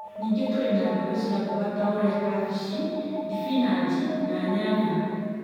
Ningĩ tũrĩ na mbegũ cia mboga ta ũrĩa kambĩnji, thibinanji, na nyanya.